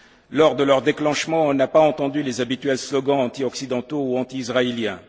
Lors de leurs déclenchements, on n'a pas entendu les habituels slogans antioccidentaux ou anti israéliens.